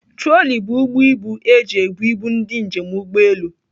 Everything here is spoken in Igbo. Trọli bụ ụgbọ ibu eji ebụ ibu ndị njem ụgbọelu.